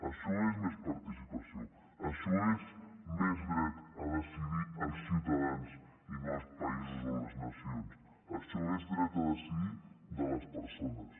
això és més participació això és més dret a decidir els ciutadans i no els països o les nacions això és dret a decidir de les persones